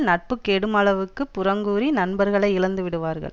நட்பு கெடுமளவுக்குப் புறங்கூறி நண்பர்களை இழந்து விடுவார்கள்